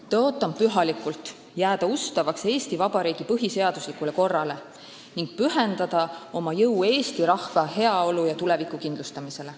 Tõotan pühalikult jääda ustavaks Eesti Vabariigi põhiseaduslikule korrale ning pühendada oma jõu eesti rahva heaolu ja tuleviku kindlustamisele.